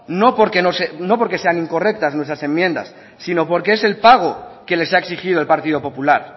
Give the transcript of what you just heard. no porque no sean incorrectas nuestras enmiendas sino porque es el pago que les ha exigido el partido popular